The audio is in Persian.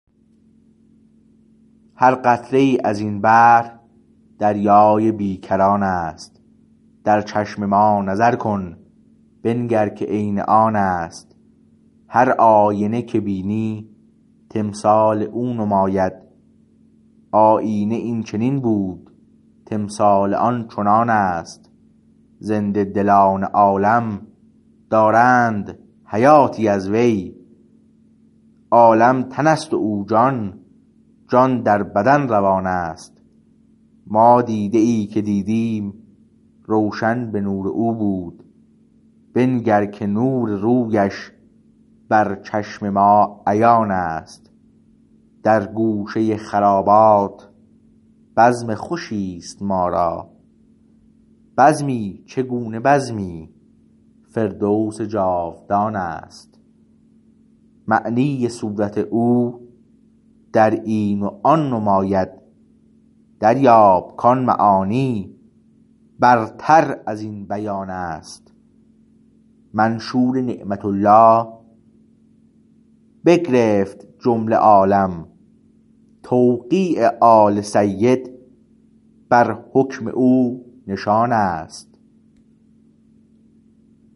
هر قطره ای از این بحر دریای بیکران است در چشم ما نظر کن بنگر که عین آن است هر آینه که بینی تمثال او نماید آیینه این چنین بود تمثال آن چنان است زنده دلان عالم دارند حیاتی از وی عالم تن است و او جان جان در بدن روان است ما دیده ای که دیدیم روشن به نور او بود بنگر که نور رویش بر چشم ما عیان است در گوشه خرابات بزم خوشی است ما را بزمی چگونه بزمی فردوس جاودان است معنی صورت او در این و آن نماید دریاب کان معانی برتر از این بیان است منشور نعمت الله بگرفت جمله عالم توقیع آل سید بر حکم او نشان است